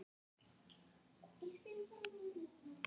Héldu þær síðan áfram sem leið lá að Hellnum og í Brekkubæ.